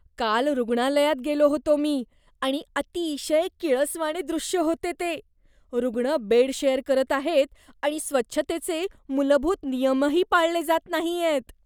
काल रुग्णालयात गेलो होतो मी आणि अतिशय किळसवाणे दृश्य होते ते. रुग्ण बेड शेअर करत आहेत आणि स्वच्छतेचे मूलभूत नियमही पाळले जात नाहीयेत.